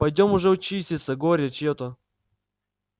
пойдём уже чиститься горе чьё то